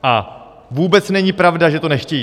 A vůbec není pravda, že to nechtějí.